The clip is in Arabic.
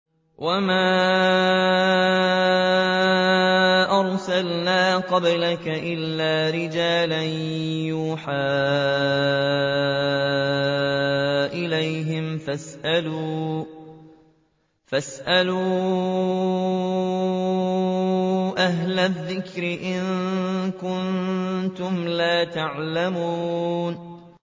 وَمَا أَرْسَلْنَا قَبْلَكَ إِلَّا رِجَالًا نُّوحِي إِلَيْهِمْ ۖ فَاسْأَلُوا أَهْلَ الذِّكْرِ إِن كُنتُمْ لَا تَعْلَمُونَ